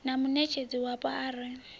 na muṋetshedzi wapo a re